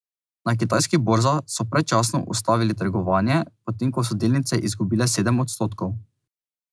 Na kitajskih borzah so predčasno ustavili trgovanje, potem ko so delnice izgubile sedem odstotkov.